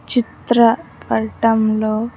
చిత్ర పటంలో.